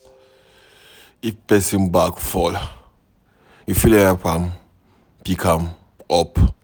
If pesin bag fall, you fit help am pick am up.